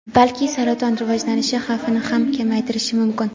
balki saraton rivojlanishi xavfini ham kamaytirishi mumkin.